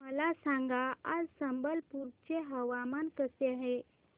मला सांगा आज संबलपुर चे हवामान कसे आहे